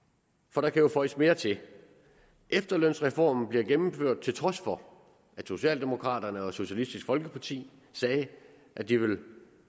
for der kan jo føjes mere til efterlønsreformen bliver gennemført til trods for at socialdemokraterne og socialistisk folkeparti sagde at de